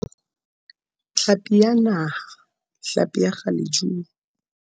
Tlhapi ya Naha, hlapi ya kgalejuni.